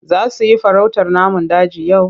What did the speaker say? Za su yi farautar namun daji yau?